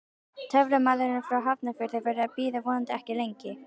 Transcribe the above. Töframaðurinn frá Hafnarfirði verður að bíða, vonandi ekki lengi.